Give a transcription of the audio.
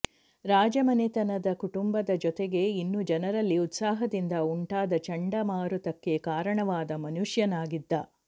ರಾಜಮನೆತನದ ಕುಟುಂಬದ ಜೊತೆಗೆ ಇನ್ನೂ ಜನರಲ್ಲಿ ಉತ್ಸಾಹದಿಂದ ಉಂಟಾದ ಚಂಡಮಾರುತಕ್ಕೆ ಕಾರಣವಾದ ಮನುಷ್ಯನಾಗಿದ್ದ